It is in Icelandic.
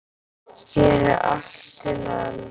Hér er allt til alls.